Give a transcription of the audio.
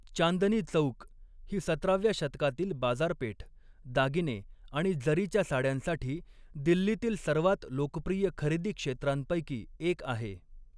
चांदनी चौक ही सतराव्या शतकातील बाजारपेठ, दागिने आणि जरीच्या साड्यांसाठी दिल्लीतील सर्वात लोकप्रिय खरेदी क्षेत्रांपैकी एक आहे.